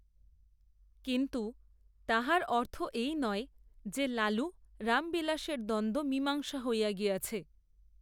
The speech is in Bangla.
কিন্ত্ত তাহার, অর্থ এই নয়, যে লালু রামবিলাসের দ্বন্দ্ব মীমাংসা হইয়া গিয়াছে